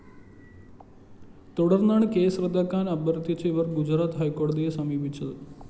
തുടര്‍ന്നാണ് കേസ് റദ്ദാക്കാന്‍ അഭ്യര്‍ഥിച്ച് ഇവര്‍ ഗുജറാത്ത് ഹൈക്കോടതിയെ സമീപിച്ചത്